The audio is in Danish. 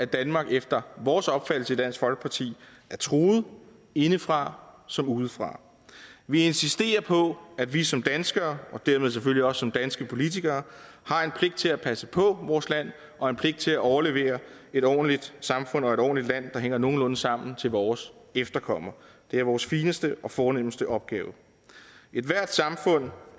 danmark efter vores opfattelse i dansk folkeparti er truet indefra som udefra vi insisterer på at vi som danskere og dermed selvfølgelig også som danske politikere har en pligt til at passe på vores land og en pligt til at overlevere et ordentligt samfund og et ordentligt land der hænger nogenlunde sammen til vores efterkommere det er vores fineste og fornemste opgave ethvert samfund